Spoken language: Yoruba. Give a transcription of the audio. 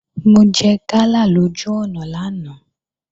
Mo jẹ gala lójú ọ̀nà lánàá